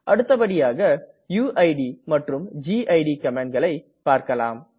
அடுத்தபடியாக யுயிட் மற்றும் கிட் கமாண்ட்களை பார்க்கலாம்